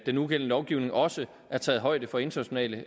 den nugældende lovgivning også er taget højde for internationale